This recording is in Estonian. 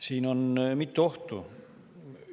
Siin on mitu ohtu.